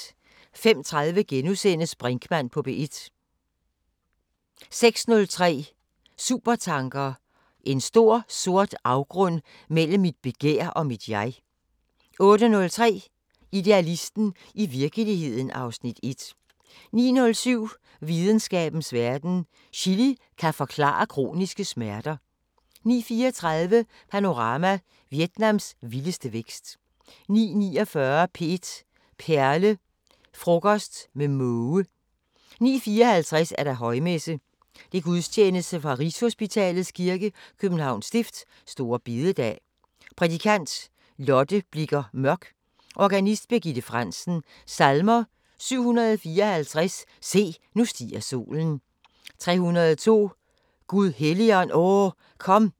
05:30: Brinkmann på P1 * 06:03: Supertanker: "En stor, sort afgrund mellem mit begær og mit jeg" 08:03: Idealisten – i virkeligheden (Afs. 1) 09:07: Videnskabens Verden: Chili kan forklare kroniske smerter 09:34: Panorama: Vietnams vilde vækst 09:49: P1 Perle: Frokost med måge 09:54: Højmesse - Gudstjenesten fra Rigshositalets kirke, Københavns Stift. Store bededag. Prædikant: Lotte Blicher Mørk. Organist: Birgitte Frandsen. Salmer: 754: "Se, nu stiger solen" 302: "Gud Helligånd, O kom"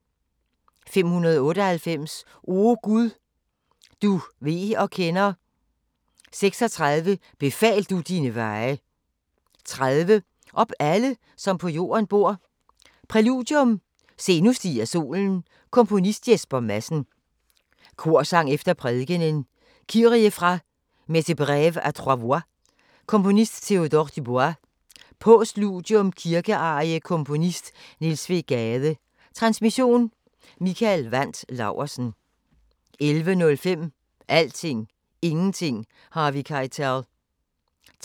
598: "O Gud, du ved og kender" 36: "Befal du dine veje" 30: "Op alle som på jorden bor" Præludium: Se nu stiger solen Komponist: Jesper Madsen. Korsang efter prædikenen: "Kyrie" fra "Messe breve a 3 voix" Komponist: Théodore Dubois Postludium: Kirkearie Komponist: Niels W. Gade. Transmission: Mikael Wandt Laursen. 11:05: Alting, Ingenting, Harvey Keitel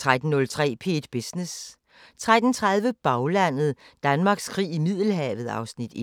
13:03: P1 Business 13:30: Baglandet: Danmarks krig i Middelhavet (Afs. 1)